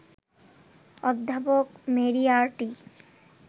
অধ্যাপক মেরিয়ার্টি